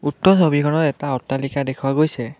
উক্ত ছবিখনত এটা অট্টালিকা দেখুওৱা গৈছে।